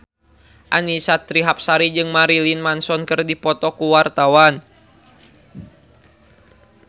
Annisa Trihapsari jeung Marilyn Manson keur dipoto ku wartawan